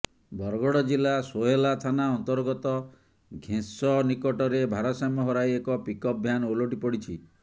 ବରଗଡ ଜିଲ୍ଲା ସୋହେଲା ଥାନା ଅନ୍ତର୍ଗତ ଘେଁସ ନିକଟରେ ଭାରସାମ୍ୟ ହରାଇ ଏକ ପିକଅପ୍ ଭ୍ୟାନ୍ ଓଲଟିପଡିଛି